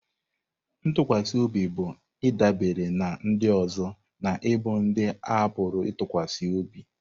Ntụkwasị obi bụ ịdabere na ndị ọzọ na ịbụ ndị a pụrụ ịtụkwasị obi.